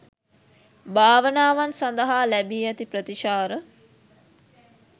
භාවනාවන් සඳහා ලැබී ඇති ප්‍රතිචාර